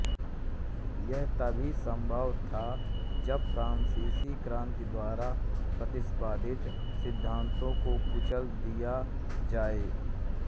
यह तभी सम्भव था जब फ्रांसीसी क्रान्ति द्वारा प्रतिपादित सिद्धान्तों को कुचल दिया जाये